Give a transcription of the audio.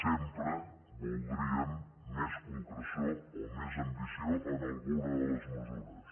sempre voldríem més concreció o més ambició en alguna de les mesures